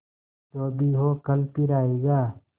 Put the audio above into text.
जो भी हो कल फिर आएगा